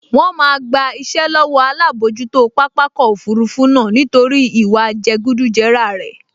Wọ́n máa gba iṣẹ́ lọ́wọ́ alábojútó pápákọ̀ òfurufú náà nítorí ìwà jẹgúdújẹrá rẹ̀